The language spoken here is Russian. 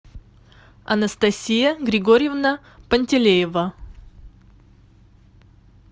анастасия григорьевна пантелеева